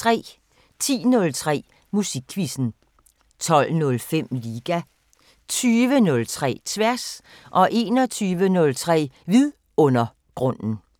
10:03: Musikquizzen 12:05: Liga 20:03: Tværs 21:03: Vidundergrunden